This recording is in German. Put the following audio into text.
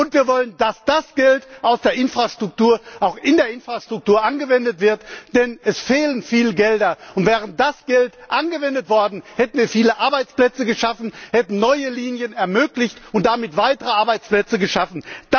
Und wir wollen, dass das Geld aus der Infrastruktur auch in der Infrastruktur investiert wird, denn es fehlen viele Gelder. Und wäre das Geld investiert worden, hätten wir viele Arbeitsplätze geschaffen, hätten neue Linien ermöglicht und damit weitere Arbeitsplätze geschaffen.